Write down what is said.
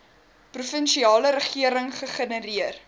provinsiale regering gegenereer